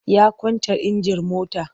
Ya kwance injin motar.